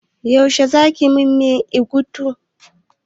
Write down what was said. Yaushe za ki man miyan ewedu?